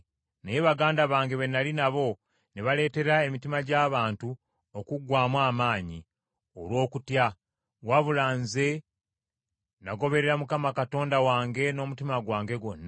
Naye baganda bange be nnali nabo ne baleteera emitima gy’abantu okuggwaamu amaanyi olw’okutya, wabula nze nagoberera Mukama Katonda wange n’omutima gwange gwonna.